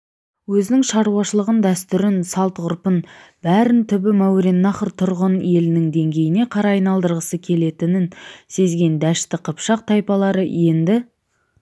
өзінің шаруашылығын дәстүрін салт-ғұрпын бәрін түбі мауреннахр тұрғын елінің дегеніне қарай айналдырғысы келетінін сезген дәшті қыпшақ тайпалары енді